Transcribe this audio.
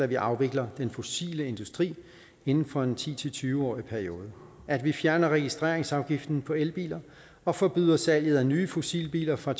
vi afvikler den fossile industri inden for en ti til tyve årig periode at vi fjerner registreringsafgiften på elbiler og forbyder salget af nye fossilbiler fra